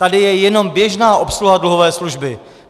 Tady je jen běžná obsluha dluhové služby.